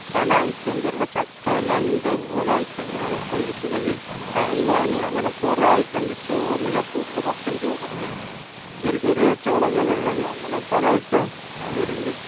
പല ഐറ്റം പേരുള്ള ചക്ക തന്നെ എന്തു പോലെ ഐറ്റങ്ങളാണ് ഇപ്പോ ഇരിക്കണത് തായ്വാന് അങ്ങനെ കുറെ ഐറ്റം ഉണ്ട് ചോന്ന ചക്ക ഉള്ളു മൊത്തം ചോന്നിട്ട് ചെറിയ ചെറിയ ചൊളകളുള്ളത് അങ്ങനെ പല ഐറ്റം വരുണ്ട്